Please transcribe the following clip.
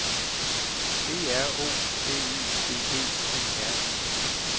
B R O B Y G G E R I